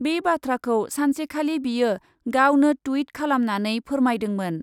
बे बाथ्राखौ सानसेखालि बियो गावनो टुइट खालामनानै फोरमायदोंमोन ।